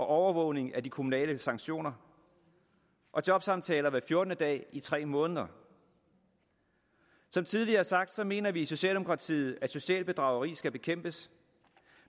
overvågning af de kommunale sanktioner og jobsamtaler hver fjortende dag i tre måneder som tidligere sagt mener vi i socialdemokratiet at socialt bedrageri skal bekæmpes